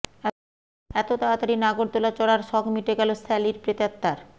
এত তাড়াতাড়ি নাগরদোলা চড়ার শখ মিটে গেল স্যালির প্ৰেতাত্মার